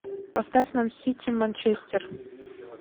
поставь нам сити манчестер